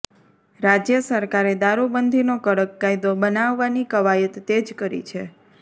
રાજય સરકારે દારૂબંધીનો કડક કાયદો બનાવવાની કવાયત તેજ કરી છે